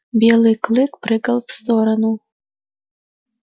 белый клык прыгал в сторону